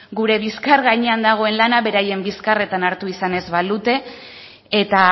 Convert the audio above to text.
gure bizkar gainean dagoen lana beraien bizkarretan hartu izan ez balute eta